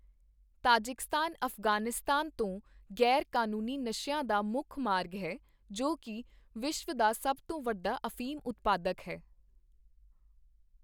Tajikistan Afghanistan ਤੋਂ ਗ਼ੈਰਕਾਨੂੰਨੀ ਨਸ਼ਿਆਂ ਦਾ ਮੁੱਖ ਮਾਰਗ ਹੈ, ਜੋ ਕੀ ਵਿਸ਼ਵ ਦਾ ਸਭ ਤੋਂ ਵੱਡਾ ਅਫੀਮ ਉਤਪਾਦਕ ਹੈ।